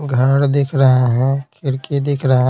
घर दिख रहे हैं खिड़की दिख रहे --